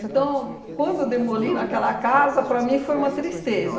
quando demoliram aquela casa, para mim foi uma tristeza.